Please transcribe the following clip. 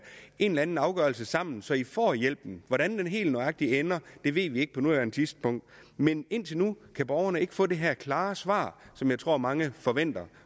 eller anden afgørelse sammen så i får hjælpen hvordan den helt nøjagtig ender ved vi ikke på nuværende tidspunkt men indtil nu vil borgerne ikke få det her klare svar som jeg tror mange forventer